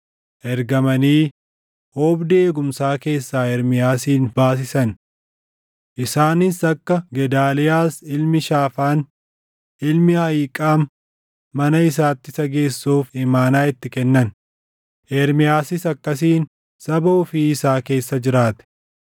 ergamanii oobdii eegumsaa keessaa Ermiyaasin baasisan. Isaanis akka Gedaaliyaas ilmi Shaafaan, ilmi Ahiiqaam mana isaatti isa geessuuf imaanaa itti kennan. Ermiyaasis akkasiin saba ofii isaa keessa jiraate.